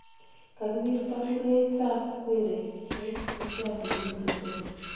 Kakiwirta Murray Sam Querrey eng michuano Wimbledon.